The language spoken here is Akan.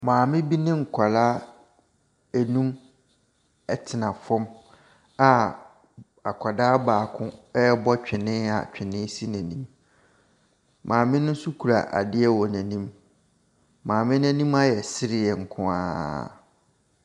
Maame bi ne nkwadaa enum ɛtena fam a akwadaa baako ɛbɔ twene a twene si n'anim. Maame no nso kura adeɛ wɔ n'anim. Maame no anim ayɛ serɛ nkoaa.